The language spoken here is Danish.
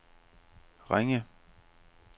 Ringe